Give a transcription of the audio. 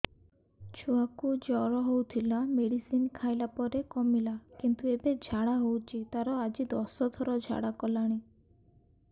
ଛୁଆ କୁ ଜର ହଉଥିଲା ମେଡିସିନ ଖାଇଲା ପରେ କମିଲା କିନ୍ତୁ ଏବେ ଝାଡା ହଉଚି ତାର ଆଜି ଦଶ ଥର ଝାଡା କଲାଣି